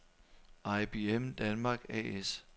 IBM Danmark A/S